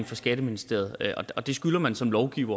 fra skatteministeriet det skylder man som lovgiver